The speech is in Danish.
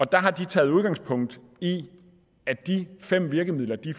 der har taget udgangspunkt i at de fem virkemidler de